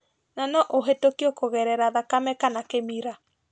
Na no ũhĩtukio kugerera thakame kana kĩmira